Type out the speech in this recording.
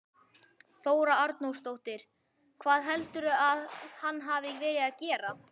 Þóra Arnórsdóttir: Hvað heldurðu að hann hafi verið að gera?